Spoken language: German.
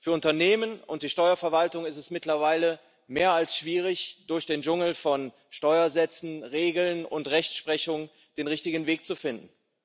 Für Unternehmen und die Steuerverwaltung ist es mittlerweile mehr als schwierig, durch den Dschungel von Steuersätzen, Regeln und Rechtsprechung den richtigen Weg zu finden.